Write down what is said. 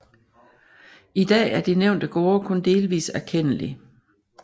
I dag er de nævnte gårde kun delvis erkendelig